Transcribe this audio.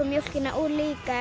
mjólkina úr líka